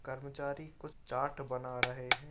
कर्मचारी कुछ चार्ट बना रहे हैं।